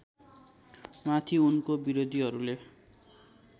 माथि उनको विरोधीहरूले